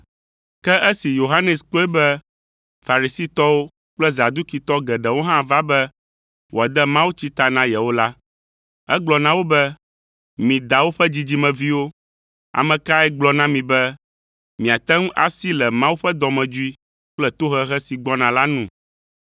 Ke esi Yohanes kpɔe be Farisitɔwo kple Zadukitɔ geɖewo hã va be wòade mawutsi ta na yewo la, egblɔ na wo be, “Mi dawo ƒe dzidzimeviwo! Ame kae gblɔ na mi be miate ŋu asi le Mawu ƒe dɔmedzoe kple tohehe si gbɔna la nu?